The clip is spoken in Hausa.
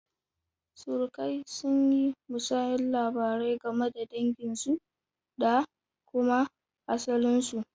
Surukai sun yi musayar labarai game da danginsu da kuma asalinsu.